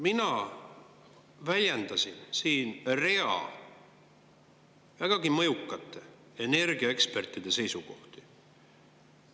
Mina väljendasin siin rea vägagi mõjukate energiaekspertide seisukohti.